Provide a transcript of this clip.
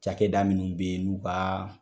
Cakɛda minnu be ye nu ka